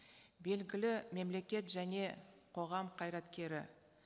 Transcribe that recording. белгілі мемлекет және қоғам қайраткері